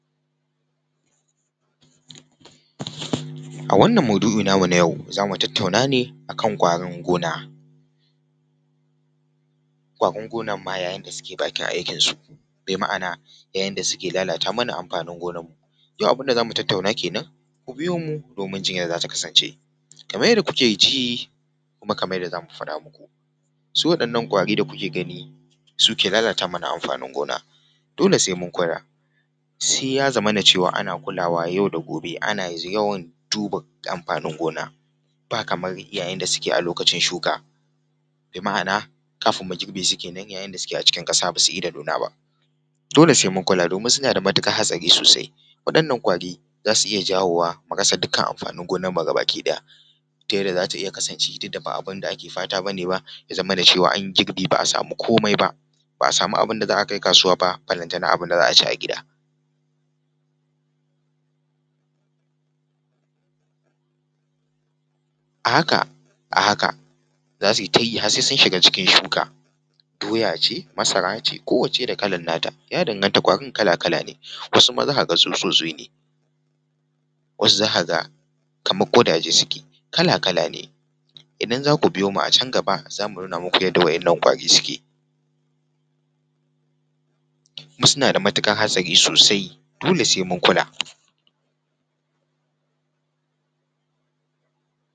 A wannan maudu’i namu na yau za mu tattauna ne akan ƙwarin gona. Ƙwarin gonar ma yayin da suke bakin aikin su bima’ana a yayin sa suke lalata mana amfanin gonar mu. Yau abin da za mu tattauna kenan ku biyo mu domin jin ya za ta kasance. Kamar yadda kuke ji kuma kamar yadda za mu faɗa maku, su waɗannan ƙwari da kuke gani su ke lalata mana amfanin gona, dole sai mun kura sai ya zamana cewa ana kulawa yau da gobe ana yawan duba amfanin gona, ba kamar yayin da suke a lokacin shuka bima’ana kafin mu girbe su kenan yayin da suke a ckin ƙasa basu ida nuna ba. Dole sai mun kula domin suna da matuƙar hatsari sosai. Waɗannan ƙwari za su iya jawowa mu rasa dukkan amfanin gonar mu ga baki ɗaya ta yadda za ta iya kasance duk da ba abin da muke fata bane ba ya zamana cewa an yi girbi ba’a samu komai ba, ba a samu abin da za a kai kasuwa ba ballatana abin da za a ci a gida. A haka a haka za su yi ta yi har sai sun shiga cikin shuka, doya ce, masara ce, kowacce da kalar nata ya danganta ƙwarin kala-kala ne wasu ma za ka ga tsutsotsi ne, wasu za ka ga kamar ƙudaje suke kala-kala ne idan za ku biyo mu a can gaba za mu nuna maku yadda wa’innan ƙwari suke, kuma suna da matuƙar hatsari sosai dole sai mun kula.